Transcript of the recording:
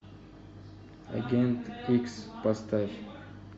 агент икс поставь